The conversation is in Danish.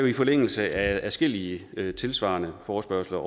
i forlængelse af adskillige tilsvarende forespørgsler